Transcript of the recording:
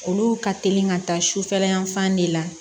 Olu ka teli ka taa sufɛla yan fan de la